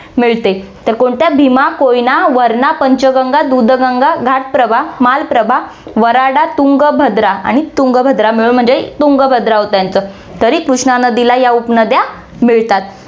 मिळते. तर कोणत्या भीमा, कोयना, वरणा, पंचगंगा, दूधगंगा, घाटप्रभा, मालप्रभा, वराडा, तुंग, भद्रा आणि तुंगभद्रा मिळून म्हणजे तुंगभद्रा होतं यांच तरी कृष्णा नदीला या उपनद्या मिळतात.